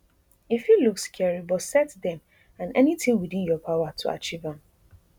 e fit look scary but set dem and anytin within your power to achieve am